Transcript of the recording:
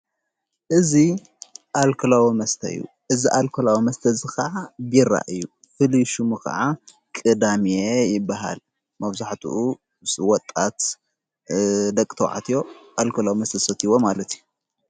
እዝ ኣልኮላዎ መስተዩ እዝ ኣልኮላዊ መስተ ዝ ኸዓ ቢራ እዩ ።ፍሊሹሙ ኸዓ ቕዳሜ ይበሃል ።መፍዙሕትኡ ወጣት ደቅተውዓትዮ ኣልኮላው መተሰትይዎ ማለት እዩ።